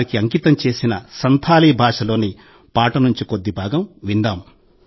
వారికి అంకితం చేసిన సంథాలీ భాషలోని పాట నుండి కొద్ది భాగం విందాం